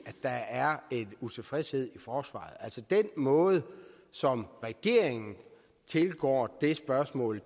der er en utilfredshed i forsvaret altså den måde som regeringen tilgår det spørgsmål